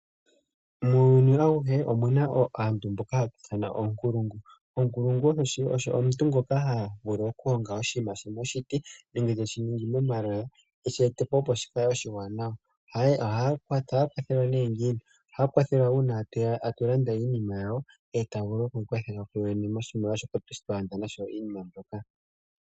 Muuyuni awuhe omuna aantu mboka hatu ithana oonkulungu. Oonkulungu omuntu ngoka vulu okulonga oshinima moshiti nenge te shi ningi eshi etepo opo shi kale oshiwanawa. Ohaya kwathelwa nee ngiini? Ohaya kwathelwa uuna atu landa iinima yawo, e taya vulu lku ikwathela ku yowene moshimaliwa shoka twa landa nasho iinima mbyoka.